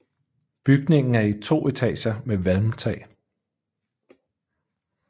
Bygningen er i to etager med valmtag